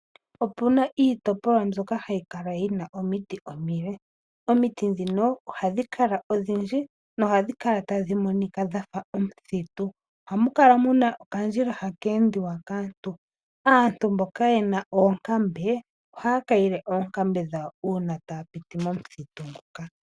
Opu na iitopolwa mbyoka hayi kala yi na omiti omile. Omiti ndhono ohadhi kala odhindji nohadhi kala tadhi monika dha fa omuthitu. Ohamu kala mu na okandjila haka endwa kaantu. Aantu mboka ye na oonkambe ohaya kayile oonkambe dhawo uuna taya piti momuthitu nguka.